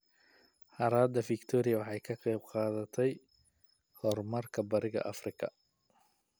Harada Victoria waxay ka qayb qaadatay horumarka Bariga Afrika.